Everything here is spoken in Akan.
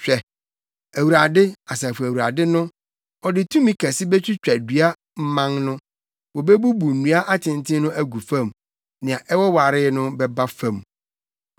Hwɛ, Awurade, Asafo Awurade no, ɔde tumi kɛse betwitwa dua mman no. Wobebubu nnua atenten no agu fam nea ɛwowaree no bɛba fam.